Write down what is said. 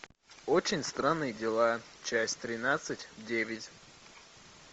очень странные дела часть тринадцать девять